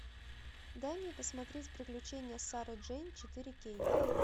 дай мне посмотреть приключения сары джейн четыре кей